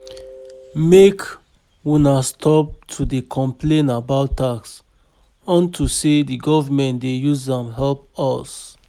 Make una stop to dey complain about tax unto say the government dey use am help us